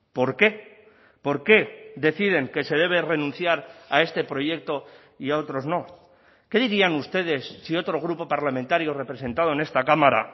por qué por qué deciden que se debe renunciar a este proyecto y a otros no qué dirían ustedes si otro grupo parlamentario representado en esta cámara